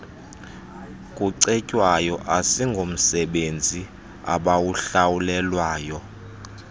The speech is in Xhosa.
kucetywayo asingomsebenzi abawuhlawulelwayo